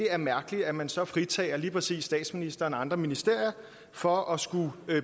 er mærkeligt at man så fritager lige præcis statsministeren og andre ministre for at skulle